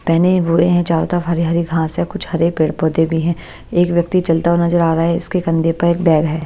पहने हुए हैं चारों तरफ हरी-हरी घास है कुछ हरे पेड़-पौधे भी हैं एक व्यक्ति चलता हुआ नजर आ रहा है इसके कंधे पर एक बैग है।